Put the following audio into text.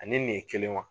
Ani nin ye kelen wa